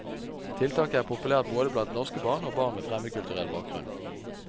Tiltaket er populært både blant norske barn og barn med fremmedkulturell bakgrunn.